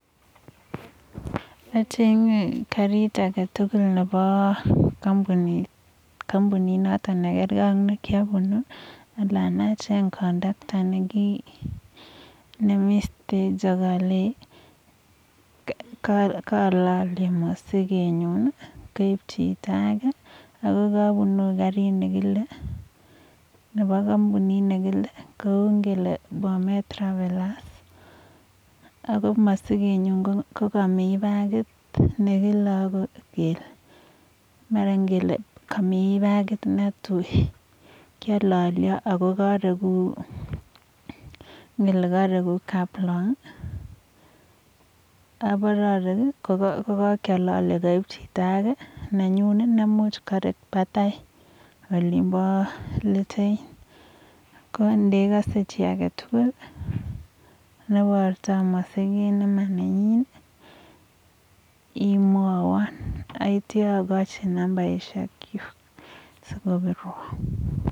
achenge karit agetugul nepo karit notok nekiapn anan acheng conductor akalenjii kaalalyee masigeet nyuun akalenjii kapunii garit ako masigeet nyuun ko kamii bagit nelel ako kamii areguu kaplong ako nenyuun kouwaan karek let ko ngiroo chito netindoi imwawaaan siagonin nambarishek chuuk